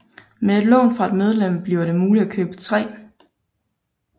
Med et lån fra et medlem blev det muligt at købe tre